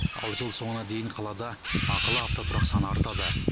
ал жыл соңына дейін қалада ақылы автотұрақ саны артады